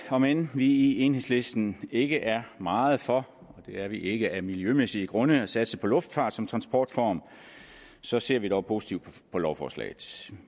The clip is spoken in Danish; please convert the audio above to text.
om end vi i enhedslisten ikke er meget for og det er vi ikke af miljømæssige grunde at satse på luftfart som transportform så ser vi dog positivt på lovforslaget